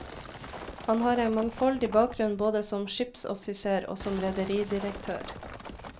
Han har en mangfoldig bakgrunn både som skipsoffiser og som rederidirektør.